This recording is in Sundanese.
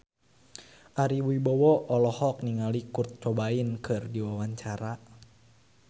Ari Wibowo olohok ningali Kurt Cobain keur diwawancara